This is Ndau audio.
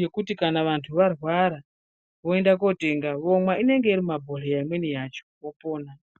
yekuti kana vandu varwara voenda kotenga vomwa inenge irimumabhohlera imweni yacho vopona.